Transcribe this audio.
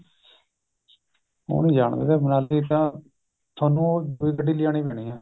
ਉਹ ਨੀ ਜਾਣ ਦਿੰਦੇ ਮਨਾਲੀ ਤਾਂ ਥੋਨੂੰ ਉਹ ਦੁਈ ਗੱਡੀ ਲਿਜਾਣੀ ਪੈਣੀ ਆ